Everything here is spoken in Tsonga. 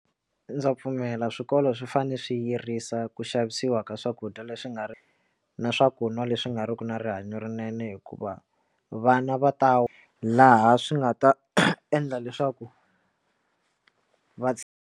Ndza pfumela swikolo swi fanele swi yirisa ku xavisiwa ka swakudya leswi nga ri na swaku n'wa leswi nga ri ki na rihanyo rinene hikuva vana va ta laha swi nga ta endla leswaku va.